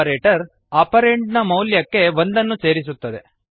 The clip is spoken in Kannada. ಆಪರೇಟರ್ ಆಪರಂಡ್ ನ ಮೌಲ್ಯಕ್ಕೆ ಒಂದನ್ನು ಸೇರಿಸುತ್ತದೆ